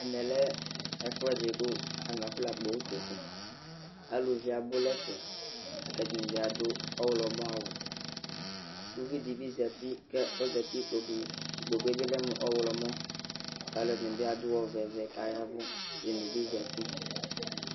Ɛmɛ lɛ ɛfʋɛdɩ kʋ afɔnakpɔ utoku Aluvi abʋ nʋ ɛfɛ la kʋ ɛdɩnɩ bɩ adʋ ɔɣlɔmɔawʋ Uvi dɩ bɩ zati kʋ ɔzati nʋ ikpoku Ikpoku yɛ bɩ lɛ mʋ ɔɣlɔmɔ la kʋ alʋɛnɩ bɩ adʋ ɔvɛ ɔvɛ kʋ aya ɛvʋ Ɛdɩnɩ bɩ zati